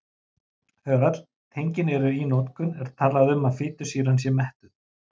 Þegar öll tengin eru í notkun er talað um að fitusýran sé mettuð.